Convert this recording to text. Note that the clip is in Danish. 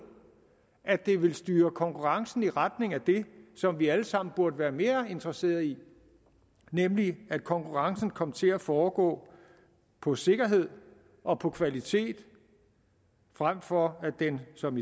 at det vil styre konkurrencen i retning af det som vi alle sammen burde være mere interesseret i nemlig at konkurrencen kom til at foregå på sikkerheden og på kvaliteten frem for at den som